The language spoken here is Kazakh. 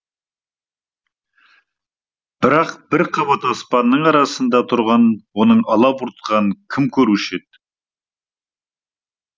бірақ бір қабат аспанның арасында тұрған оның алабұртқанын кім көруші еді